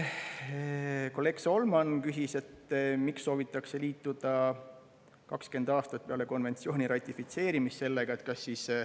Kolleeg Solman küsis, miks soovitakse liituda konventsiooniga 20 aastat peale selle ratifitseerimist.